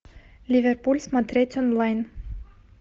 ливерпуль смотреть онлайн